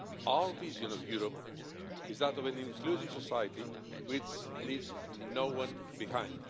Our vision of Europe is that of an inclusive society, which leaves no one behind.